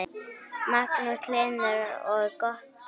Magnús Hlynur: Og gott verð?